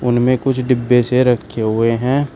उनमें कुछ डिब्बे से रखे हुए हैं।